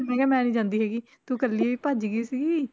ਮੈਂ ਕਿਹਾ ਮੈਂ ਨੀ ਜਾਂਦੀ ਹੈਗੀ ਤੂੰ ਇਕੱਲੀ ਹੀ ਭੱਜ ਗਈ ਸੀਗੀ।